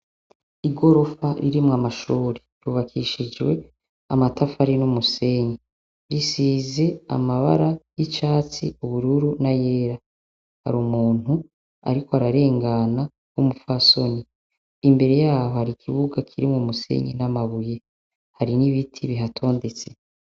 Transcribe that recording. I gorofa ririmwo amashuri rubakishijwe amatafari n'umusenyi risize amabara y'icatsi ubururu na yera hari umuntu, ariko ararengana w'umupfasoni imbere yaho hari ikibuga kirimwo umusenyi n'amabuye hari n'ibiti bihatondetse.